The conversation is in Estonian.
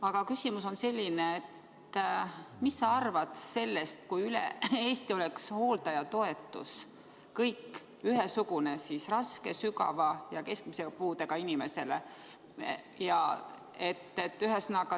Aga küsimus on selline: mis sa arvad sellest, kui üle Eesti oleks hooldajatoetus ühesugune nii raske, sügava ja keskmise puudega inimese hooldajale?